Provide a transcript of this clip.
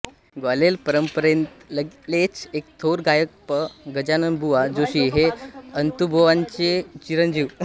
ग्वाल्हेर परंपरेतलेच एक थोर गायक पं गजाननबुवा जोशी हे अंतुबुवांचे चिरंजीव